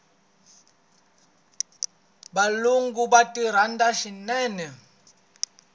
valungu va ti rhandza swinene